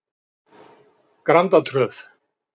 Grandatröð